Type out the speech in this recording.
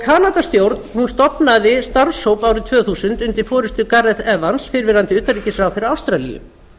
ákveðinni varúð kanadastjórn stofnaði starfshóp árið tvö þúsund undir forustu gareth evans fyrrverandi utanríkisráðherra ástralíu